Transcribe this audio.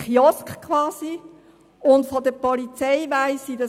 Es wurden zahlreiche Polizisten verletzt.